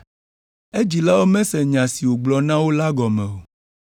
Edzilawo mese nya si wògblɔ na wo la gɔme o.